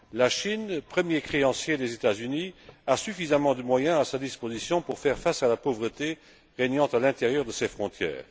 La Chine, premier créancier des États Unis, a suffisamment de moyens à sa disposition pour faire face à la pauvreté régnant à l'intérieur de ses frontières.